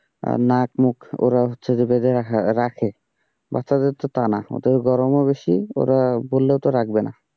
নাক মুখ ওরা হচ্ছে যে বেজায় রাখে, বাচ্চাদের তো তা না, ওদের গরমও বেশি ওরা বললেও তো রাখবে না।